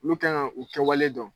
Lu kan ŋa u kɛwale dɔn.